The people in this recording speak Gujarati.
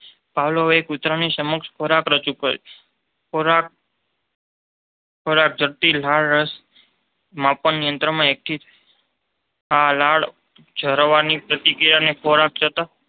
પાવલોવે કૂતરાની સમક્ષ ખોરાક રજૂ કર્યો. ખોરાક જોતાં લાળરસ માપનયંત્રમાં એકઠી થઈ આ લાળ ઝરવાની પ્રતિક્રિયા ખોરાક જોતાં